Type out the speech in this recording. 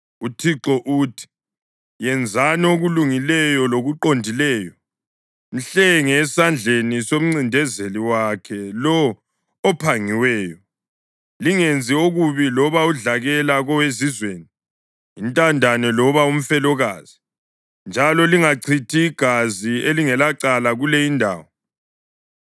UThixo uthi: Yenzani okulungileyo lokuqondileyo. Mhlenge esandleni somncindezeli wakhe lowo ophangiweyo. Lingenzi okubi loba udlakela kowezizweni, intandane loba umfelokazi, njalo lingachithi igazi elingelacala kule indawo.